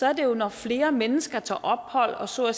er det jo når flere mennesker tager ophold og så